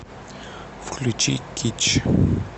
включи кич